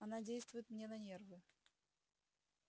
она действует мне на нервы